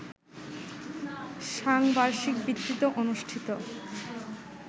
সাংবার্ষিক ভিত্তিতে অনুষ্ঠিত